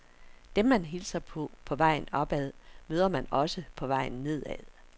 Dem man hilser på på vejen opad, møder man også på vejen nedad.